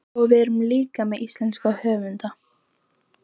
Og við erum líka með íslenska höfunda.